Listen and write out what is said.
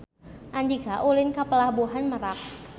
Andika ulin ka Pelabuhan Merak